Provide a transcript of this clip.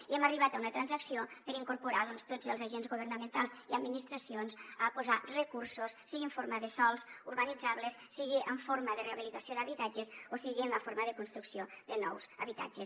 i hem arribat a una transacció per incorporar tots els agents governamentals i administracions a posar recursos sigui en forma de sòls urbanitzables sigui en forma de rehabilitació d’habitatges o sigui en la forma de construcció de nous habitatges